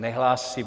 Nehlásí.